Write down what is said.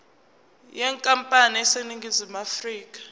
yenkampani eseningizimu afrika